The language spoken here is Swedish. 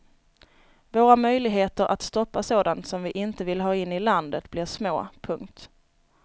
Våra möjligheter att stoppa sådant som vi inte vill ha in i landet blir små. punkt